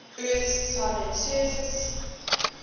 earth's solid surface